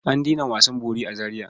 An daina wasan bori a Zariya.